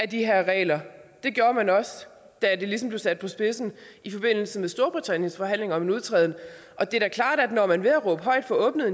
de her regler det gjorde man også da det ligesom blev sat på spidsen i forbindelse med storbritanniens forhandling om en udtræden og det er da klart at når man ved at råbe højt får åbnet